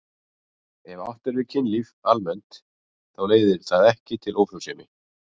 Ef átt er við kynlíf almennt þá leiðir það ekki til ófrjósemi.